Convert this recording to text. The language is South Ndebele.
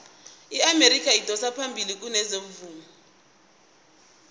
iamerika idosa phambili kezomvumo